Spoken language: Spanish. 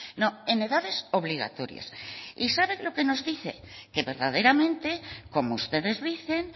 no en edades obligatorias sabe lo que nos dice que verdaderamente como ustedes dicen